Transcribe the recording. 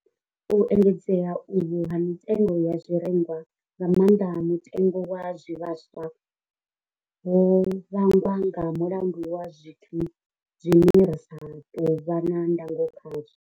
U engedzea uhu ha mitengo ya zwirengwa, nga maanḓa mutengo wa zwivhaswa, ho vhangwa nga mulandu wa zwithu zwine ra sa tou vha na ndango khazwo.